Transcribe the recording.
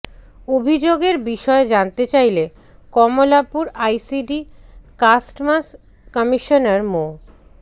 অভিযোগের বিষয়ে জানতে চাইলে কমলাপুর আইসিডি কাস্টমস কমিশনার মো